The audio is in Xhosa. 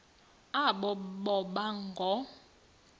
aba boba ngoo